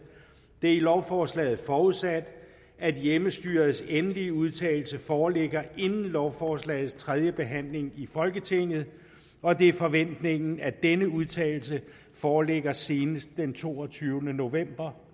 det er i lovforslaget forudsat at hjemmestyrets endelige udtalelse foreligger inden lovforslagets tredje behandling i folketinget og det er forventningen at denne udtalelse foreligger senest den toogtyvende november